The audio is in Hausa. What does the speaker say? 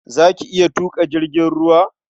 Za ki iya tuƙa jirgin ruwa?